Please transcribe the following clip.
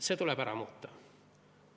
See tuleb ära muuta.